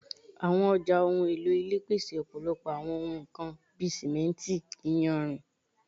Awọn ọja ohun elo ile pese ọpọlọpọ awọn ohun kan bi simenti, iyanrin